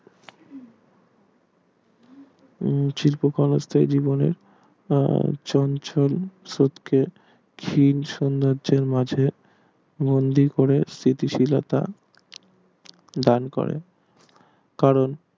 উম শিল্প ক্ষনস্তাই জীবনে চঞ্চল জীবনে খিন শূন্য তার মাঝে বন্দি করে স্থিতি শীলতা দান করে কারণ